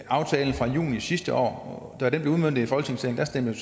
aftalen fra juni sidste år da den blev udmøntet i folketingssalen stemte